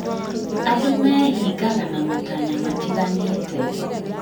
Andũ meehingaga na matanya matiganĩte